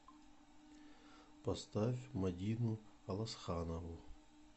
поставь мадину аласханову